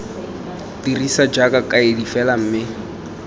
dirisiwa jaaka kaedi fela mme